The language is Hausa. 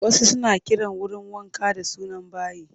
Wasu suna kiran wurin wanka da suna bayi